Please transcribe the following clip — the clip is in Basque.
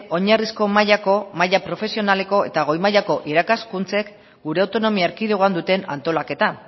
oinarrizko mailako maila profesionaleko eta goi mailako irakaskuntzen gure autonomia erkidegoan duten antolaketa